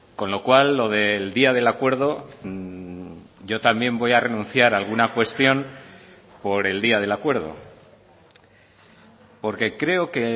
con lo cual lo del día del acuerdo yo también voy a renunciar a alguna cuestión por el día del acuerdo porque creo que